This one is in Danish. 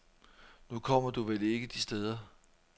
Nu kommer du vel ikke de steder.